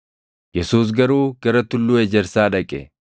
Yesuus garuu gara Tulluu Ejersaa dhaqe.